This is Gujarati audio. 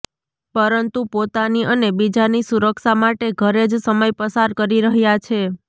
પરંતુ પોતાની અને બીજાની સુરક્ષા માટે ઘરે જ સમય પસાર કરી રહ્યા છે